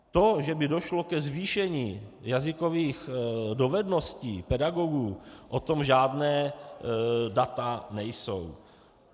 To, že by došlo ke zvýšení jazykových dovedností pedagogů, o tom žádná data nejsou.